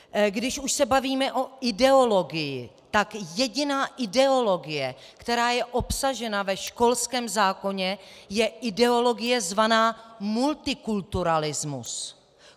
Když už se bavíme o ideologii, tak jediná ideologie, která je obsažena ve školském zákoně, je ideologie zvaná multikulturalismus.